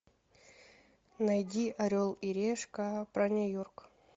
найди орел и решка про нью йорк